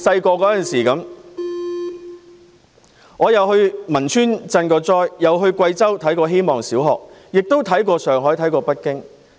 我小時候去過汶川賑災，去過貴州希望小學參觀，也去過上海、北京。